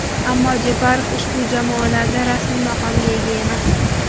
Ammo Jeparov ushbu jamoalarda rasmiy maqomga ega emas.